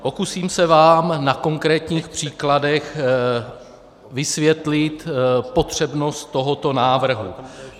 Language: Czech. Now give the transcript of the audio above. Pokusím se vám na konkrétních příkladech vysvětlit potřebnost tohoto návrhu.